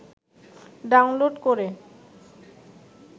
download করে